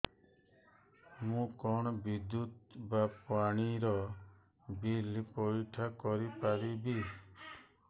ମୁ କଣ ବିଦ୍ୟୁତ ବା ପାଣି ର ବିଲ ପଇଠ କରି ପାରିବି